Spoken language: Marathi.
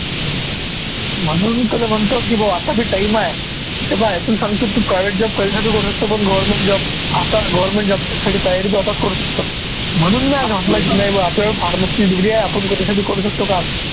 म्हणून तुले म्हणतो की भाऊ आता बी time आहे, हे पाह्य तू सांगतो तू private job कैसा बी करू शकतो, पण government job आता government job च्यासाठी तयारी तू आताच करू शकतो, म्हणून मी नाही बा pharmacy ची degree आपण दुसरं बी करू शकतो काम